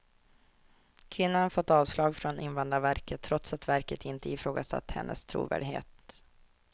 Kvinnan har fått avslag från invandrarverket, trots att verket inte ifrågasatt hennes trovärdighet.